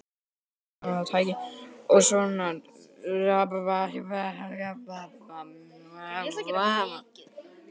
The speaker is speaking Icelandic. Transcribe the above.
Og svona vill nú gleymast hjá ungu fólki.